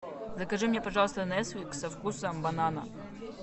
закажи мне пожалуйста несквик со вкусом банана